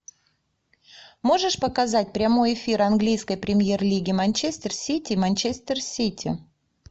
можешь показать прямой эфир английской премьер лиги манчестер сити манчестер сити